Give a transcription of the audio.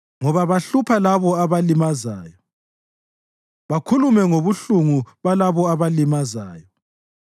Ngoba bahlupha labo obalimazayo bakhulume ngobuhlungu balabo obalimazayo.